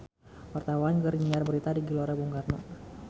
Wartawan keur nyiar berita di Gelora Bung Karno